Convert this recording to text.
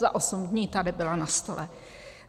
Za osm dní tady byla na stole.